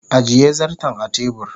ajiye zarton a tebur